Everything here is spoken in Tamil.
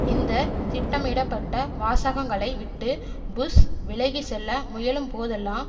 இந்த திட்டமிடப்பட்ட வாசகங்களைவிட்டு புஷ் விலகி செல்ல முயலும்போதெல்லாம்